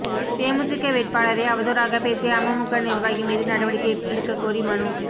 தேமுதிக வேட்பாளரை அவதூறாகப் பேசிய அமமுக நிா்வாகி மீது நடவடிக்கை எடுக்கக் கோரி மனு